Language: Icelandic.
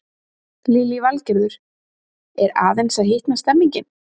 Lillý Valgerður: Er aðeins að hitna stemningin?